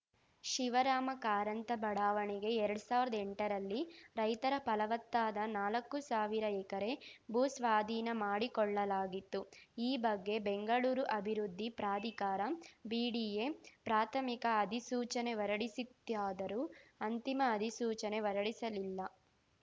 ಶಿವರಾಮ ಕಾರಂತ ಬಡಾವಣೆಗೆ ಎರಡ್ ಸಾವಿರ್ದಾ ಎಂಟರಲ್ಲಿ ರೈತರ ಫಲವತ್ತಾದ ನಾಲಕ್ಕು ಸಾವಿರ ಎಕರೆ ಭೂಸ್ವಾಧೀನ ಮಾಡಿಕೊಳ್ಳಲಾಗಿತ್ತು ಈ ಬಗ್ಗೆ ಬೆಂಗಳೂರು ಅಭಿವೃದ್ಧಿ ಪ್ರಾಧಿಕಾರ ಬಿಡಿಎ ಪ್ರಾಥಮಿಕ ಅಧಿಸೂಚನೆ ಹೊರಡಿಸಿತ್ತಾದರೂ ಅಂತಿಮ ಅಧಿಸೂಚನೆ ಹೊರಡಿಸಲಿಲ್ಲ